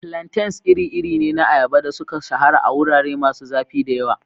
Plantains iri-iri ne na ayaba da suka shahara a wurare masu zafi da yawa.